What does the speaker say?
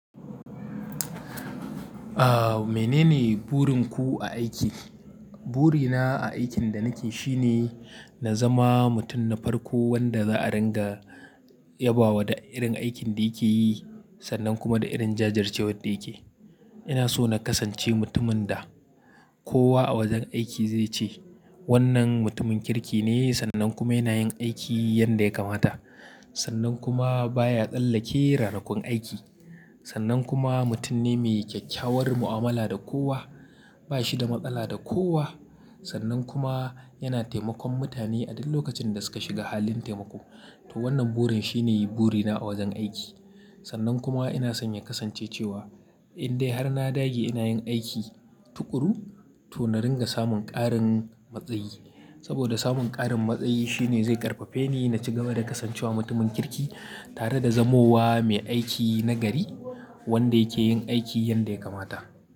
Aa, menene burin ku a aiki? Burina a aikin da nake shi ne, na zama mutum na farko wanda za a ringa yabawa da irin aikin da yake yi sannan kuma da irin jajircewar da yake. Ina so na kasance mutumin da kowa a wajen aiki zai ce wannan mutumin kirki ne sannan kuma yana yin aiki yanda ya kamata. Sannan kuma baya tsallake ranakun aiki. Sannan kuma mutum ne mai kyakkyawar mu'amala da kowa. Ba shi da matsala da kowa. Sannan kuma yana taimakon mutane a duk lokacin da suka shiga halin taimako. To wannan burin shine burina a wajen aiki. Sannan kuma ina son in kasance cewa in dai har na dage ina yin aiki tuƙuru, to na ringa samun ƙarin matsayi. Saboda samun ƙarin matsayi shine zai ƙarfafe ni na ci gaba da kasancewa mutumin kirki tare da zamowa mai aiki nagari wanda yake yin aiki yanda ya kamata.